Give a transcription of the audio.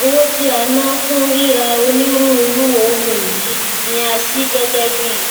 owó tí a ná fún ríra onírúurú ohunìní ni a ṣí gẹgẹ bíi